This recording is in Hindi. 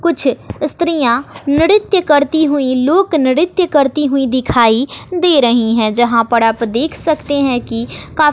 कुछ स्त्रियां नृत्य करती हुई लोक नृत्य करती हुई दिखाई दे रही है यहां पर आप देख सकते हैं कि काफ़--